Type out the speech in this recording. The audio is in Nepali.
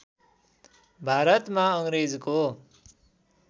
भारतमा अङ्ग्रेजको